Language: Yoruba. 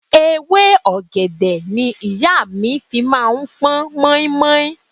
Ewé ọ̀gẹ̀dẹ̀ ni ìyá mi fi máa ń pọn mọ́í-mọ́í.